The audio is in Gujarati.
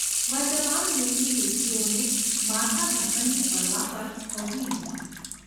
વર્તમાન યુગની યુવતીઓને માથાઢાંકણની પરવા પણ હોતી નથી.